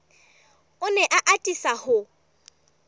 o ne a atisa ho